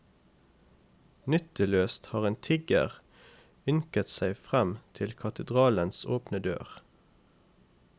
Nytteløst har en tigger ynket seg frem til katedralens åpne dør.